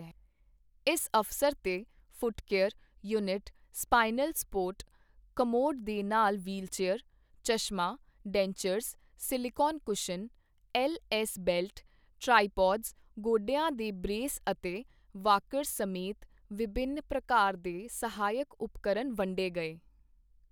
ਇਸ ਅਵਸਰ ਤੇ foot care, unit, spinal support, commode ਦੇ ਨਾਲ ਵ੍ਹੀਲਚੇਅਰ, ਚਸ਼ਮਾ, dentures, silicone cushion, L S belt, tripods, ਗੋਢਿਆਂ ਦੇ ਬ੍ਰੇਸ ਅਤੇ ਵਾਕਰਸ ਸਮੇਤ ਵਿਭਿੰਨਿ ਪ੍ਰਕਾਰ ਦੇ ਸਹਾਇਕ ਉਪਕਰਨ ਵੰਡੇ ਗਏ।